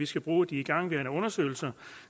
skal bruge de igangværende undersøgelser